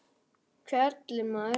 Á að bera á líðandi veturnóttum.